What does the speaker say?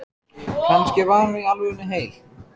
Kannski var hann í alvörunni heil